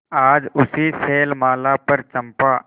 आज उसी शैलमाला पर चंपा